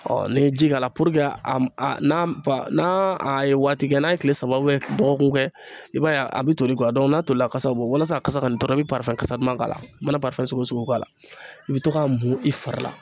n'i ye ji k'a la a n'a ba a ye waati kɛ n'a ye tile saba dɔgɔkun kɛ i b'a ye a bɛ toli kɔ n'a tolila kasa bɔ walasa a kasa kɔni dɔrɔn i bɛ kasa duman k'a la i mana sugu k'a la i bɛ to k'a mun i fari la